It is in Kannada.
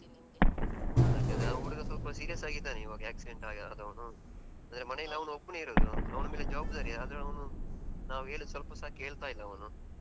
ಯಾಕಂದ್ರೆ ಆ ಹುಡುಗ ಸ್ವಲ್ಪ serious ಆಗಿದ್ದಾನೆ ಈವಾಗ ಆಕ್ಸಿಡೆಂಟ್ ಆಗಿ ಅಂದ್ರೆ ಮನೆಯಲ್ಲಿ ಅವ್ನ್ ಒಬ್ನೇ ಇರೋದು. ಅವ್ನ ಮೇಲೆ ಜವಾಬ್ದಾರಿ. ಆದ್ರೆ ಅವ್ನುನಾವು ಹೇಳಿದು ಸ್ವಲ್ಪಸಾ ಕೇಳ್ತಾ ಇಲ್ಲ.